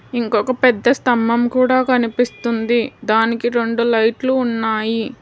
ఇంకొక పెద్ద స్తంభం కూడా కనిపిస్తుంది దానికి రొండు లైట్లు ఉన్నాయి.